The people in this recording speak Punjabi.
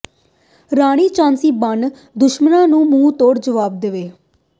ਰਾਣੀ ਝਾਂਸੀ ਬਣ ਦੁਸ਼ਮਣ ਨੂੰ ਮੂੰਹ ਤੋੜ ਜਵਾਬ ਦੇਵੇ